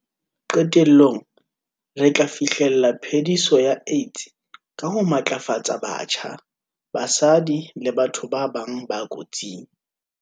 Qetellong, re tla fi hlella phe-diso ya AIDS ka ho matlafatsa batjha, basadi le batho ba bang ba kotsing.